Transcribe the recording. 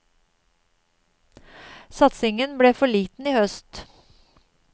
Satsingen ble for liten i høst.